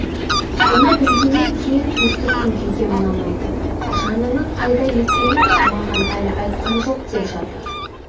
соны білгеннен кейін төстік күңкеге мынаны айтады жанының қайда екенін маған әлі айтқан жоқ деп жатыр